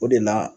O de la